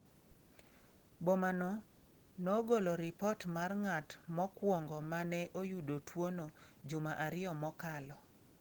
Boma no nogolo ripot mar ng’at mokwongo ma ne oyudo tuwono juma ariyo mokalo.